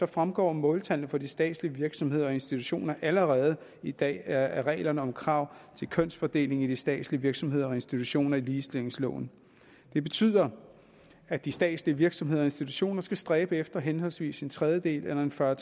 fremgår måltallene for de statslige virksomheder og institutioner allerede i dag af reglerne om krav til kønsfordelingen i de statslige virksomheder og institutioner i ligestillingsloven det betyder at de statslige virksomheder og institutioner skal stræbe efter henholdsvis en tredjedel eller en fyrre